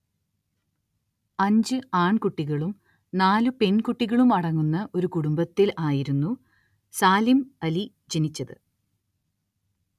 അഞ്ച്‌ ആൺകുട്ടികളും നാല്‌ പെൺകുട്ടികളും അടങ്ങുന്ന ഒരു കുടുംബത്തിൽ ആയിരുന്നു സാലിം അലി ജനിച്ചത്‌.